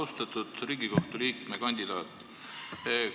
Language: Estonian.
Austatud Riigikohtu liikme kandidaat!